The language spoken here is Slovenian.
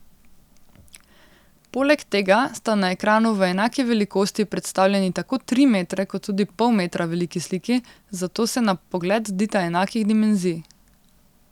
Poleg tega sta na ekranu v enaki velikosti predstavljeni tako tri metre kot tudi pol metra veliki sliki, zato se na pogled zdita enakih dimenzij.